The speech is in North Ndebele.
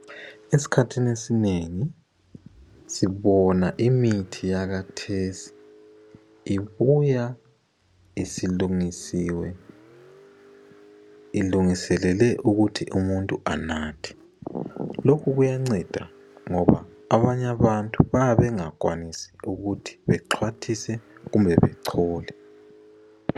Esikhathini esinengi sibona imithi yakathesi ibuya isilungisiwe, ilungiselelwe ukuthi umuntu anathe. Lokhu kuyanceda ngoba abanye abantu bayabe bengakwanisi ukuthi bexhwathise kumbe bechole.